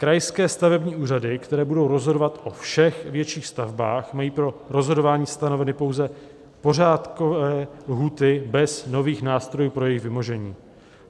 Krajské stavební úřady, které budou rozhodovat o všech větších stavbách, mají pro rozhodování stanoveny pouze pořádkové lhůty bez nových nástrojů pro jejich vymožení.